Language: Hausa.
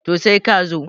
to sai ka zo